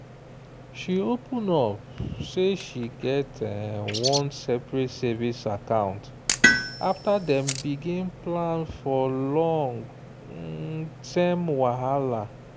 she open up say she get one separate savings account after dem begin plan for long- term whahala.